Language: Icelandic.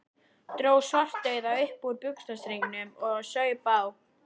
Dró Svartadauða upp úr buxnastrengnum og saup á.